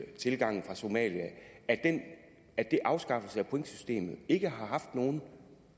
tilgangen fra somalia at afskaffelsen af pointsystemet ikke har haft nogen